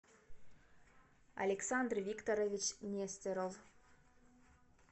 александр викторович нестеров